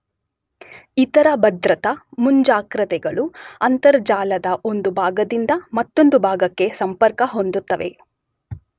ಇತರ ಭದ್ರತಾ ಮುಂಜಾಗ್ರತೆಗಳು ಅಂತರ್ಜಾಲದ ಒಂದು ಭಾಗದಿಂದ ಮತ್ತೊಂದು ಭಾಗಕ್ಕೆ ಸಂಪರ್ಕ ಹೊಂದುತ್ತವೆ.